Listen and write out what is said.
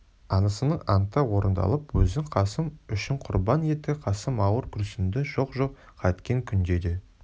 анасының анты орындалып өзін қасым үшін құрбан етті қасым ауыр күрсінді жоқ жоқ қайткен күнде де